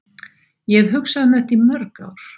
Ég hef hugsað um þetta í mörg ár.